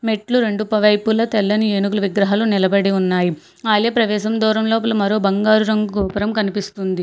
మెట్లు రొండు వైపుల తెల్లని ఏనుగులు విగ్రహాలు నిలబడి ఉన్నాయి ఐల ప్రవేశం దోరం లోపల మరో బంగారు రంగు గోపురం కనిపిస్తుంది.